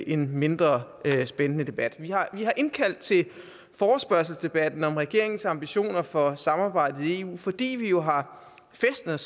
en mindre spændende debat vi har indkaldt til forespørgselsdebatten om regeringens ambitioner for samarbejdet i eu fordi vi jo har fæstnet